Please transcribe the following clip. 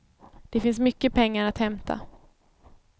Det finns mycket pengar att hämta.